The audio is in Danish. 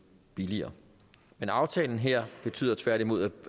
billigere men aftalen her betyder tværtimod at